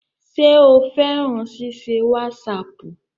Ṣé o fẹ́ràn ṣíṣe wásaàpù?